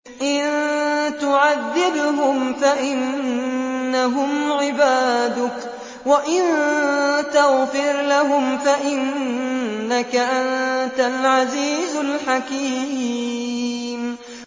إِن تُعَذِّبْهُمْ فَإِنَّهُمْ عِبَادُكَ ۖ وَإِن تَغْفِرْ لَهُمْ فَإِنَّكَ أَنتَ الْعَزِيزُ الْحَكِيمُ